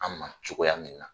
An ma cogoya min na